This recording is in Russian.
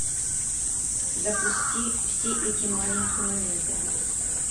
запусти все эти маленькие моменты